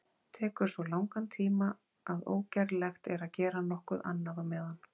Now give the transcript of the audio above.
Tekur svo langan tíma að ógerlegt er að gera nokkuð annað á meðan.